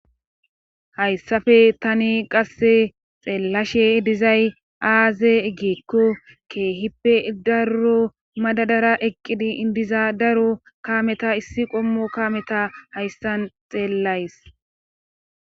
hayssafe tani qasse xeellashe dizay aaze egeekko kehippe darro madadara eqqidi indiza daro kaameta issi qommo kameta hayssan xeellays